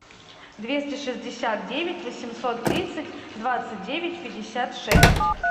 двести шестьдесят девять восемьсот тридцать двадцать девять пятьдесят шесть